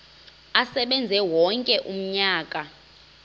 asebenze wonke umnyaka